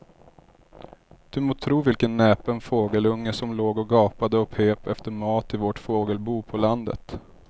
Du må tro vilken näpen fågelunge som låg och gapade och pep efter mat i vårt fågelbo på landet.